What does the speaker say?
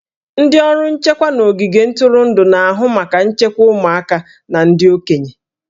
Ndị ọrụ nchekwa n'ogige ntụrụndụ na-ahụ maka nchekwa ụmụaka na ndị okenye